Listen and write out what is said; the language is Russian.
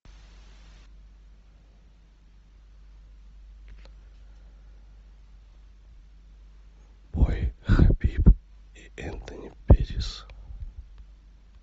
бой хабиб и энтони петтис